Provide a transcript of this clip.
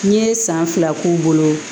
N ye san fila k'u bolo